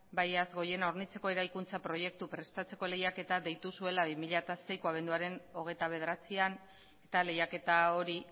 urkabustaiz hornitzeko eraikuntza proiektu prestatzeko lehiaketa deitu zuela bi mila seiko abenduaren hogeita bederatzian eta lehiaketa hori